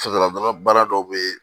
Fasadɔgɔbaara dɔw bɛ yen